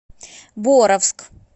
боровск